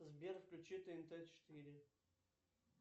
сбер включи тнт четыре